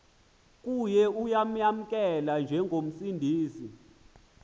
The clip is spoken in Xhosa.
kuye uyamamkela njengomsindisi